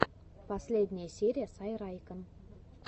последняя серия сайрайкен